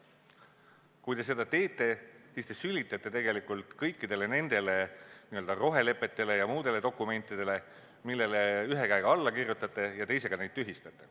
Kui te seda teete, siis te sülitate tegelikult kõikidele nendele n-ö rohelepetele ja muudele dokumentidele, millele te ühe käega alla kirjutate ja mida te teisega tühistate.